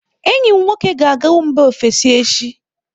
Enyi m nwoke ga-aga mba ofesi echi.